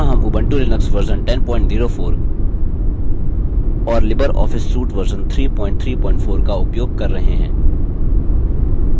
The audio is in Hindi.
यहाँ हम उबंटू लिनक्स वर्जन 1004 और लिबर ऑफिस सूट वर्जन 334 का उपयोग कर रहे हैं